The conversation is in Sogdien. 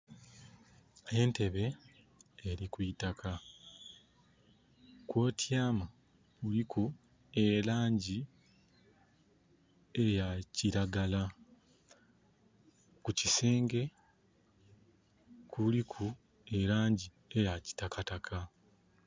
Entebe eri kwitaka. Kwotiama kuliku elangi eya kiragala. Ku kisenge kuliku elangi eya kitakataka